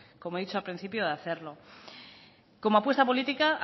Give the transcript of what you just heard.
como he dicho al principio de hacerlo como apuesta política